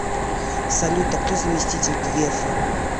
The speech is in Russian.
салют а кто заместитель грефа